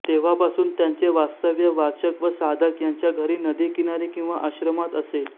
तेव्हापासून त्यांचे वास्तव्य वाचक व साधक यांच्या घरी नदी किनारी किंवा आश्रमात असे